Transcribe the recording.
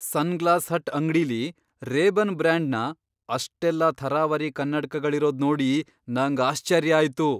Sunglass hut ಅಂಗ್ಡಿಲಿ Ray Ban ಬ್ರ್ಯಾಂಡ್ನ ಅಷ್ಟೆಲ್ಲ ಥರಾವರಿ ಕನ್ನಡ್ಕಗಳಿರೋದ್ ನೋಡಿ ನಂಗ್ ಆಶ್ಚರ್ಯ ಆಯ್ತು.